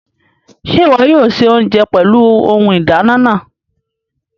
Ṣe iwọ yóò ṣe oúnjẹ pẹlú Ohùn ìdáná náà?